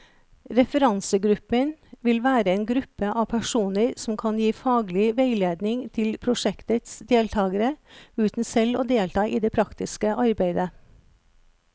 Referansegruppen vil være en gruppe av personer som kan gi faglig veiledning til prosjektets deltagere, uten selv å delta i det praktiske arbeidet.